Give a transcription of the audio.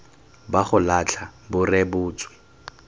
ba go latlha bo rebotswe